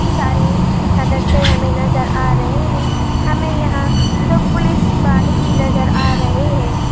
सारे सदस्य हमें नज़र आ रहे हैं हमें यहां दो पुलिस वाले भी नज़र आ रहे हैं।